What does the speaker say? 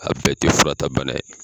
A bɛɛ tɛ furata bana ye.